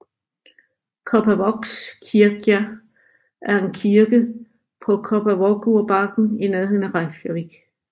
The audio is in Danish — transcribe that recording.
Kópavogskirkja er en kirke på Kópavogurbakken i nærheden af Reykjavík